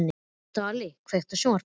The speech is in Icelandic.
Dvalinn, kveiktu á sjónvarpinu.